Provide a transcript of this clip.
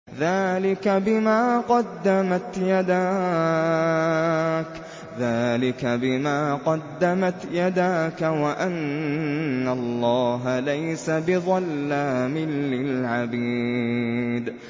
ذَٰلِكَ بِمَا قَدَّمَتْ يَدَاكَ وَأَنَّ اللَّهَ لَيْسَ بِظَلَّامٍ لِّلْعَبِيدِ